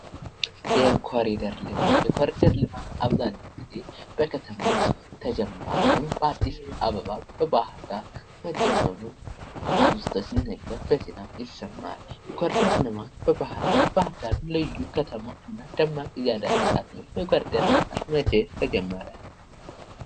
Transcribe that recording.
የኮሪደር ልማት አብዛኛው ጊዜ በከተሞች ተጀምሯል ይህም በአዲስ አበባ ፥በባህር ዳር መጀመሩን አብዝቶ ሲነገር በዜና ይሰማል ። የኮሪደር ልማት መቼ ተጀመረ?